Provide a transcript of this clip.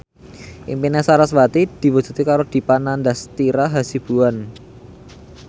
impine sarasvati diwujudke karo Dipa Nandastyra Hasibuan